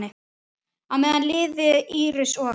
Á meðan liðu Íris og